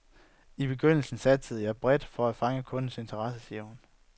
I begyndelsen satsede jeg bredt for at fange kundernes interesse, siger hun.